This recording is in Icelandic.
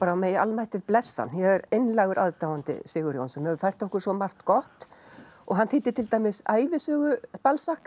og megi almættið blessa hann ég er einlægur aðdáandi Sigurjóns sem hefur fært okkur svo margt gott hann þýddi til dæmis ævisögu